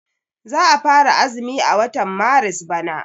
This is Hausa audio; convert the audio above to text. Za a fara azumi a watan maris bana.